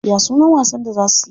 Ya sunan wasan da za suyi?